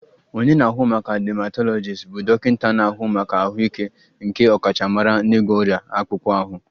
Onye na-ahụ maka dermatologist bụ dọkịta na-ahụ maka ahụike nke ọkachamara n'ịgwọ ọrịa akpụkpọ ahụ